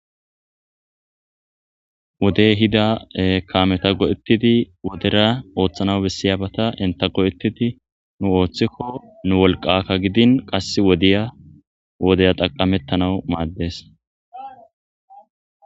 Wodey ehida kaameta go'etidi wodera ooththanaw besiyabata entta go'etidi nu ooththiko nu wolqaka gidin qassi wodiya wodiya xaqametanaw madees.